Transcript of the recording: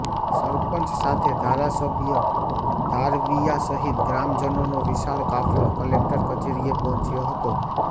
સરપંચ સાથે ધારાસભ્ય ધારવિયા સહિત ગ્રામજનોનો વિશાળ કાફલો કલેકટર કચેરીએ પહોચ્યો હતો